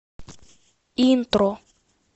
интро